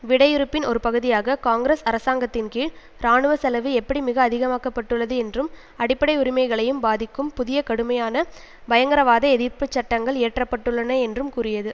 விடையிறுப்பின் ஒரு பகுதியாக காங்கிரஸ் அரசாங்கத்தின்கீழ் இராணுவ செலவு எப்படி மிக அதிகமாக்கப்பட்டுள்ளது என்றும் அடிப்படை உரிமைகளையும் பாதிக்கும் புதிய கடுமையான பயங்கரவாத எதிர்ப்பு சட்டங்கள் இயற்றப்பட்டுள்ளன என்றும் கூறியது